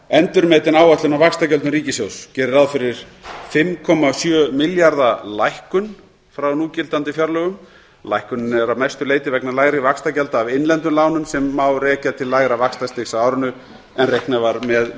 endurmetin áætlun á vaxtagjöldum ríkissjóðs gerir ráð fyrir fimm komma sjö milljarða lækkun frá núgildandi fjárlögum lækkunin er að mestu leyti vegna lægri vaxtagjalda af innlendum lánum sem má rekja til lægra vaxtastigs á árinu en reiknað var með